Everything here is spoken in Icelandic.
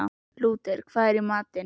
Lúter, hvað er í matinn?